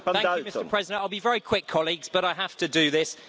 Mr President, I'll be very quick, colleagues, but I have to do this.